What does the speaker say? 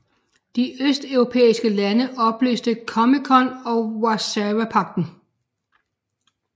De østeuropæiske lande opløste COMECON og Warszawapagten